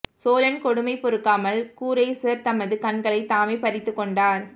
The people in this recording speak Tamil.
சோழன் கொடுமை பொறுக்காமல் கூரேசர் தமது கண்களைத் தாமே பறித்துக் கொண்டார்